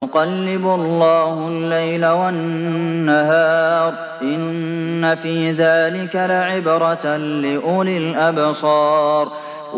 يُقَلِّبُ اللَّهُ اللَّيْلَ وَالنَّهَارَ ۚ إِنَّ فِي ذَٰلِكَ لَعِبْرَةً لِّأُولِي الْأَبْصَارِ